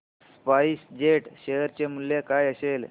spice Jet share चे मूल्य काय असेल